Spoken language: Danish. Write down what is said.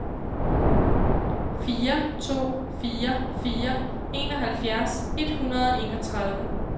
fire to fire fire enoghalvfjerds et hundrede og enogtredive